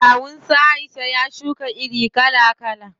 Kawun su Aisha ya shuka iri kala kala.